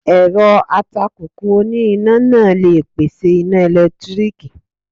Èrọ atakùkù oní iná náà le pèsè iná ẹ̀lẹ́tíríkì.